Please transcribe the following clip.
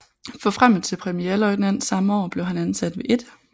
Forfremmet til premierløjtnant samme år blev han ansat ved 1